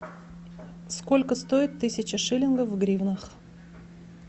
сколько стоит тысяча шиллингов в гривнах